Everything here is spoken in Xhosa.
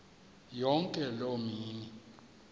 yonke loo mini